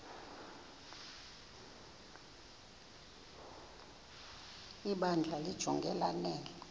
ibandla limjonge lanele